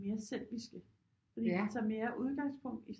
Mere selviske fordi de tager mere udgangspunkt i